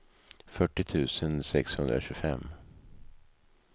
fyrtio tusen sexhundratjugofem